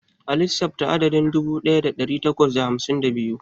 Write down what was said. A lissafta adadin dubu ɗaya da ɗari takwas da hamsin da biyu.